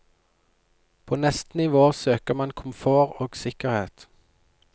På neste nivå søker man komfort og sikkerhet.